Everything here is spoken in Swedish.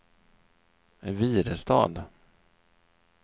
Virestad